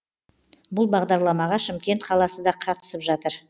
бұл бағдарламаға шымкент қаласы да қатысып жатыр